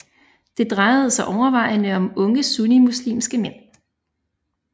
Det drejede sig overvejende om unge sunnimuslimske mænd